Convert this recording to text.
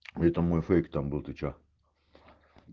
это мой фейк там был ты что